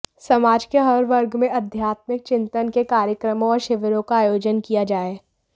समाज के हर वर्ग मे आध्यात्मिक चिंतन के कार्यक्रमों और शिविरों का आयोजन किया जाय